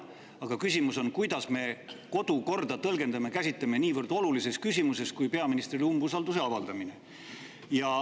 Aga küsimus on, kuidas me kodukorda tõlgendame ja käsitleme niivõrd olulises küsimuses kui peaministrile umbusalduse avaldamine.